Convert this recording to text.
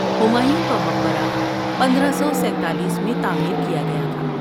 ہمایوں کا مقبرہ پندرہ سو سینتالیس میں تعمیر کیا گیا تھا